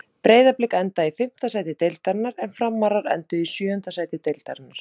Breiðablik endaði í fimmta sæti deildarinnar en Framarar enduðu í sjöunda sæti deildarinnar.